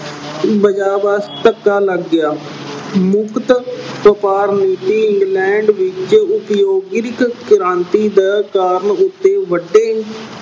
ਧੱਕਾ ਲੱਗ ਗਿਆ। ਮੁਕਤ ਵਪਾਰ ਨੀਤੀ England ਵਿੱਚ ਉਦਯੋਗਿਕ ਕ੍ਰਾਂਤੀ ਦਾ ਕਾਰਨ ਉਥੇ ਵੱਡੇ